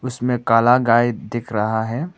उसमें काला गाय दिख रहा है।